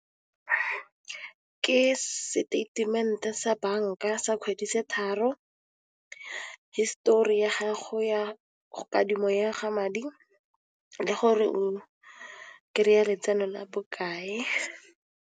Ke seteitemente sa banka sa kgwedi tse tharo, history ya gago ya kadimo ya madi le gore o kry-a letseno la bokae.